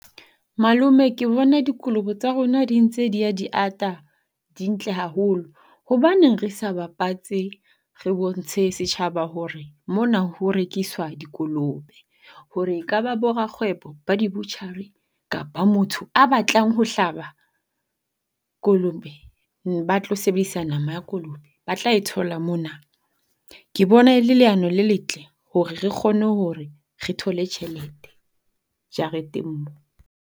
Malome ke bona dilkolobe tsa rona di ntse di ya di ata, dintle haholo. Hobaneng re sa bapatse re bontshe setjhaba hore mona ho rekiswa dikolobe? Hore ekaba bo rakgwebo ba di-butchery kapa motho a batlang ho hlaba kolobe, ba tlo sebedisa nama ya kolobe, ba tla e thola mona. Ke bona ele leano le letle hore re kgone hore re thole tjhelete jareteng mo.